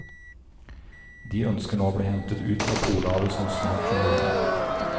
De ønsker nå å bli hentet ut fra polhavet så snart som mulig.